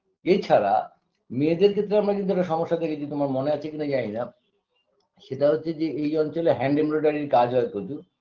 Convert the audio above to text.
এছাড়া মেয়েদের ক্ষেত্রে আমরা কিন্তু একটা সমস্যা দেখেছি তোমার মনে আছে কিনা জানিনা সেটা হচ্ছে যে এই অঞ্চলে hand embroidery -এর কাজ হয় প্রচুর